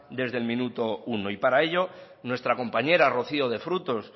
desde el minuto uno y para ello nuestra compañera rocío de frutos